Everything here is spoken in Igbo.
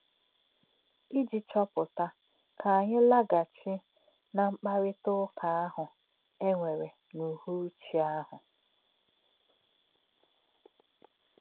Íjì̄ chọ̄pụ̀tà̄, kà̄ ànyí̄ là̄gà̄chí̄ ná̄ mkpárítà̄ ụ́kà̄ àhū̄ è nwèrè̄ n’ùhụ̀rú̄chí̄ àhū̄.